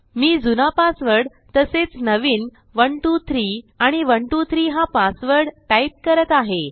मी जुना पासवर्ड तसेच नवीन 123आणि 123हा पासवर्ड टाईप करत आहे